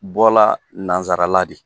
Bɔla nanzsarala de.